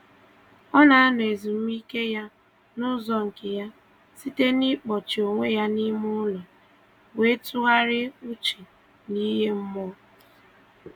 Ọ na-anọ ezumike ya n'ụzọ nke ya, site na-ịkpọchi onwe ya n'ime ụlọ wee tụgharịa uche n'ihe mmụọ